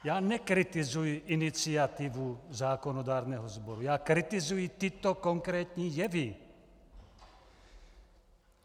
Já nekritizuji iniciativu zákonodárného sboru, já kritizuji tyto konkrétní jevy.